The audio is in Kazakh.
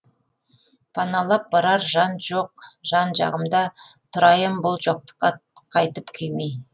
паналап барар жан жоқ жан жағымда тұрайын бұл жоқтыққа қайтып күймей